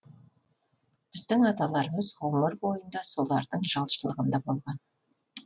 біздің аталарымыз ғұмыр бойында солардың жалшылығында болған